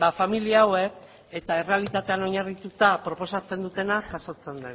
familia hauek eta errealitatean oinarrituta proposatzen dutena jasotzen